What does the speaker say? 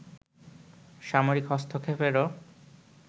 সামরিক হস্তক্ষেপেরও